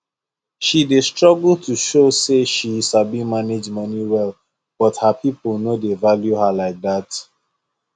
she dey struggle to show say she sabi manage money well but her people no dey value her like dat